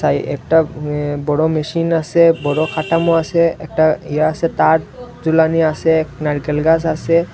তাই একটা অ্যা বড় মেশিন আসে বড়ো খাটামো আসে একটা ইয়ে আসে তার ঝুলানি আসে একটা নারিকেল গাস আসে।